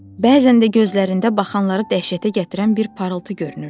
Bəzən də gözlərində baxanları dəhşətə gətirən bir parıltı görünürdü.